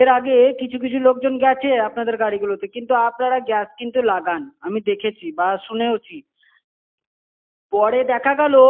এর আগে কিছু-কিছু লোকজন গেছে আপনাদের গাড়িতে। কিন্তু, আপনারা gas কিন্তু লাগান আমি দেখেছি বা শুনেওছি। পরে দেখা গেলো।